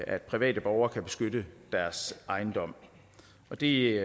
at private borgere kan beskytte deres ejendom det